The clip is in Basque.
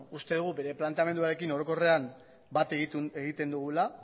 uste dugu bere planteamenduarekin orokorrean bat egiten dugula